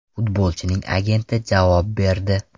Futbolchining agenti javob berdi.